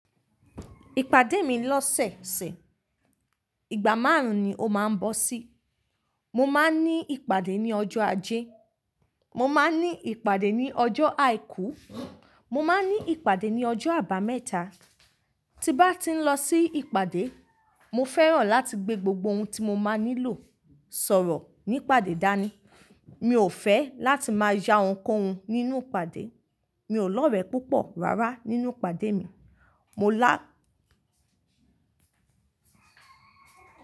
Ìpàdé mi lọ́sẹ̀ẹ̀sẹ̀, ìgbà márùn-ún ni ó máa ń bọ́ sí. Mo máa ń ní ìpàdé ní ọjọ́ ajé, mo máa ń ní ìpàdé ní ọjọ́ àìkú, mo máa ń ní ìpàdé ní ọjọ́ àbámẹ́ta. Ti bá ti ń lọ sí ìpàdé, mo fẹ́ràn láti gbé gbogbo ohun tí mo máa nílò sọ̀rọ̀ ní ìpàdé dání. Mi ò fẹ́ láti máa ya ohunkóhun nínú ìpàdé. Mi ò lọ́rẹ púpọ̀ rárá nínú ìpàdé mi. Mo lá.